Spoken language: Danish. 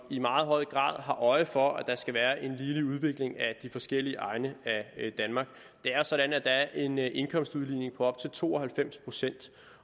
i meget høj grad har øje for at der skal være en ligelig udvikling af de forskellige egne af danmark det er sådan at der er en indkomstudligning på op til to og halvfems procent